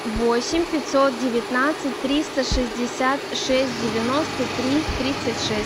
восемь пятьсот девятнадцать триста шестьдесят шесть девяносто три тридцать шесть